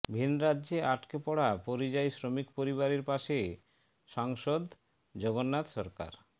ভিনরাজ্যে আটকে পড়া পরিযায়ী শ্রমিক পরিবারের পাশে সাংসদ জগন্নাথ সরকার